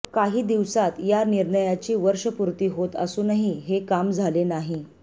काही दिवसांत या निर्णयाची वर्षपूर्ती होत असूनही हे काम झाले नाही